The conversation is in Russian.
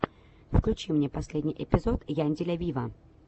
включи мне последний эпизод янделя виво